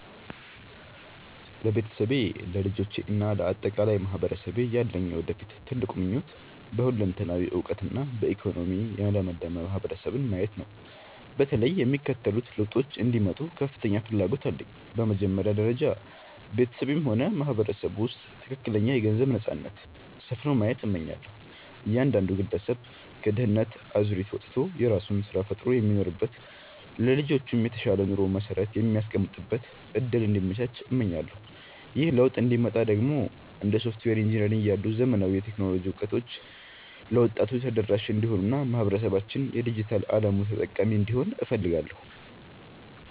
ለቤተሰቤ፣ ለልጆቼ እና ለአጠቃላይ ማህበረሰቤ ያለኝ የወደፊት ትልቁ ምኞት በሁለንተናዊ እውቀትና በኢኮኖሚ የለመለመ ማህበረሰብን ማየት ነው። በተለይም የሚከተሉት ለውጦች እንዲመጡ ከፍተኛ ፍላጎት አለኝ፦ በመጀመሪያ ደረጃ፣ በቤተሰቤም ሆነ በማህበረሰቡ ውስጥ ትክክለኛ የገንዘብ ነፃነት (Financial Freedom) ሰፍኖ ማየት እመኛለሁ። እያንዳንዱ ግለሰብ ከድህነት አዙሪት ወጥቶ የራሱን ስራ ፈጥሮ የሚኖርበት፣ ለልጆቹም የተሻለ የኑሮ መሰረት የሚያስቀምጥበት እድል እንዲመቻች እመኛለሁ። ይህ ለውጥ እንዲመጣ ደግሞ እንደ ሶፍትዌር ኢንጂነሪንግ ያሉ ዘመናዊ የቴክኖሎጂ እውቀቶች ለወጣቱ ተደራሽ እንዲሆኑና ማህበረሰባችን የዲጂታል አለሙ ተጠቃሚ እንዲሆን እፈልጋለሁ።